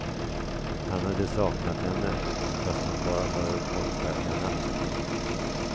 Han hade saknat henne, fast hon bara varit borta en natt.